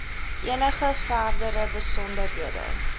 enige verdere besonderhede